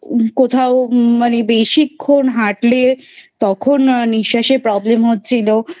কোথাও মানে বেশিক্ষণ হাঁটলে তখন নিঃশ্বাসে Problem হচ্ছিল